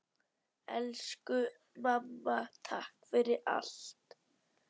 Elsku mamma, takk fyrir allt.